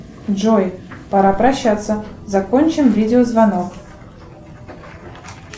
джой пора прощаться закончим видеозвонок